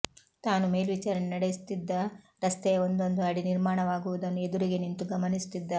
ತಾನು ಮೇಲ್ವಿಚಾರಣೆ ನಡೆಸುತಿದ್ದ ರಸ್ತೆಯ ಒಂದೊಂದು ಅಡಿ ನಿರ್ಮಾಣವಾಗುವುದನ್ನು ಎದುರಿಗೆ ನಿಂತು ಗಮನಿಸುತಿದ್ದ